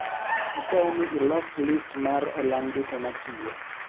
Akwayo ni ilos list mar olang duto matiyo